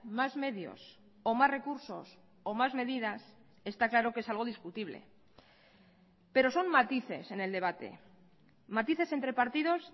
más medios o más recursos o más medidas está claro que es algo discutible pero son matices en el debate matices entre partidos